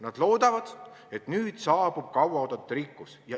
Nad loodavad, et nüüd saabub kaua oodatud rikkus.